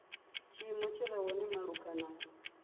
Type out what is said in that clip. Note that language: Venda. tshiimo tshi re hone malugana